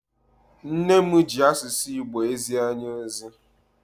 Nne m ji asụsụ Igbo ezi anyị ozi.